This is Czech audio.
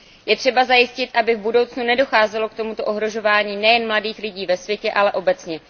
Je třeba zajistit, aby v budoucnu nedocházelo k tomuto ohrožování nejen mladých lidí ve světě, ale obecně.